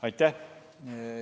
Aitäh!